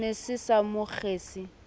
ne se sa mo kgese